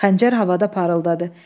Xəncər havada parıldadı.